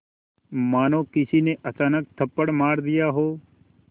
मानो किसी ने अचानक थप्पड़ मार दिया हो